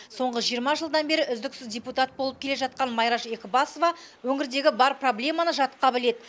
соңғы жиырма жылдан бері үздіксіз депутат болып келе жатқан майраш екібасова өңірдегі бар проблеманы жатқа біледі